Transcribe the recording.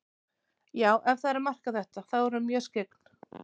Já, ef það er að marka þetta, þá er hún mjög skyggn.